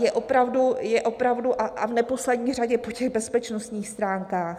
Je opravdu a v neposlední řadě po těch bezpečnostních stránkách.